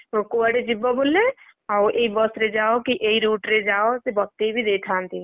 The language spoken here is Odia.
ହଁ କୁଆଡେ ଯିବ ବୋଲେ ଆଉ ଏ ବସ ରେ ଯାଅ କି ଏଇ route ରେ ଯାଅ ସେ ବତେଇ ବି ଦେଇଥାନ୍ତି।